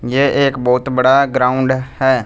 ये एक बहुत बड़ा ग्राउंड है।